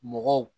Mɔgɔw